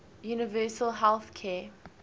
universal health care